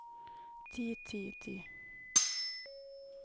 ti ti ti